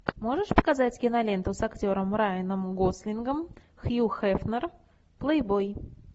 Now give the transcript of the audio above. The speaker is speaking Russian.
можешь показать киноленту с актером райаном гослингом хью хефнер плейбой